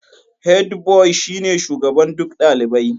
Hedbuwai shine shugaban duk dalibai.